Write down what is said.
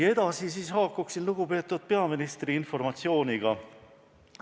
Aga nüüd haakuksin lugupeetud peaministri informatsiooniga.